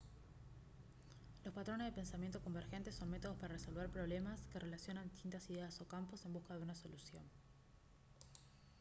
los patrones de pensamiento convergente son métodos para resolver problemas que relacionan distintas ideas o campos en busca de una solución